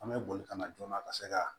An bɛ boli kana joona ka se ka